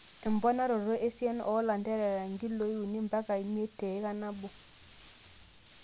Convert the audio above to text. Emponaroto esiana oo lanterera nkiloi uni mpaka miet teika nabo.